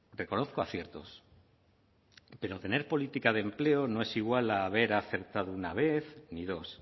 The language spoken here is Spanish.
reconozco aciertos pero tener política de empleo no es igual a haber acertado una vez ni dos